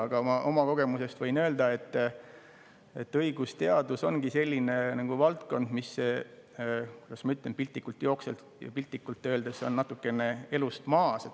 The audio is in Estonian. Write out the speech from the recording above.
Aga ma oma kogemusest võin öelda, et õigusteadus ongi selline valdkond, mis – kuidas ma ütlen – piltlikult öeldes on natukene elust maas.